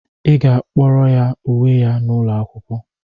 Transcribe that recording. Ị ga-akpọrọ ya uwe ya n'ụlọ akwụkwọ!